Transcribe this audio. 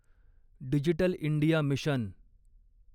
digital India mission